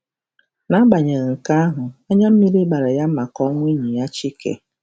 N'agbanyeghị nke ahụ, “anya mmiri gbara ya” maka ọnwụ enyi ya Chike.